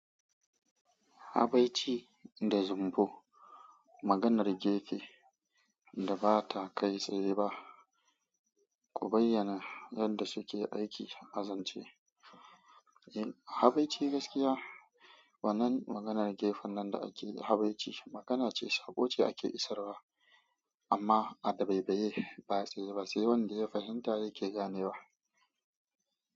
Habaici da zumbo maganar gefe da ba ta kai tsaye ba, ku bayyana yadda suke aiki a zance. Habai ci gaskiya wannan maganar gefen nan da akeyi habaici magana ce sako ce ake isarwa amma a dabaibaye ba tsaye ba sai wanda ya fahimta yake gane wa.